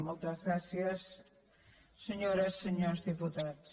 moltes gràcies senyores i senyors diputats